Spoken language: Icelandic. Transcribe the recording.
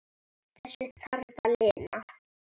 Þessu þarf að linna.